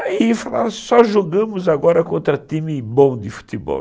Aí falaram, só jogamos agora contra time bom de futebol.